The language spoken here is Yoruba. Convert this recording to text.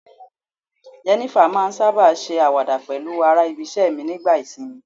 Jenifer ma n saba ṣe awada pẹlu ara ibise mi nigba isinmi